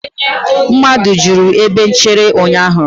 mmadụ juru ebe nchere ụnyahụ